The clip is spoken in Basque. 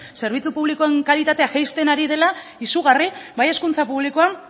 zerbitzu publikoen kalitatea jaisten ari dela izugarri bai hezkuntza publikoan